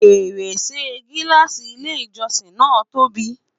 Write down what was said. fèrèsé gilaasi ilé ìjósìn na tóbi